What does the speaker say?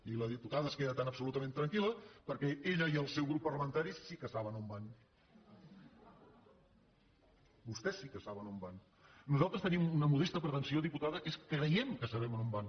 i la diputada es queda tan absolutament tranquil·la perquè ella i el seu grup parlamentari sí que saben a on van tres tenim una modesta pretensió diputada que és que creiem que sabem on van